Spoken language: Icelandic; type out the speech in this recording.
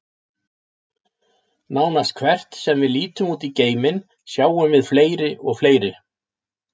Nánast hvert sem við lítum út í geiminn, sjáum við fleiri og fleiri.